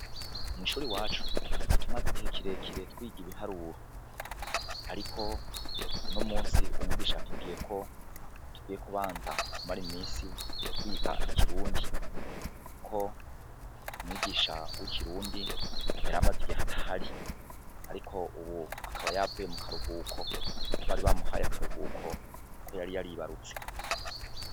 Mw'ishuri iwacu twari tumaze igihe kirekire twiga ibiharuro, ariko uno musi umwigisha atubwiyeko tugiye kubanza kumara imisi twiga ikirundi, kuko umwigisha w'ikirundi yaramaze igihe atahari, ariko ubu akaba yavuye mu karuhuko, bari bamuhaye akaruhuko ko yari yaribarutse.